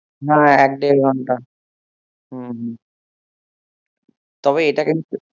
না এক দেড় ঘন্টা হম হম তবে এটা কিন্তু